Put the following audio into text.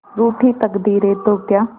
रूठी तकदीरें तो क्या